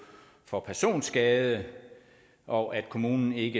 for personskade og at kommunen ikke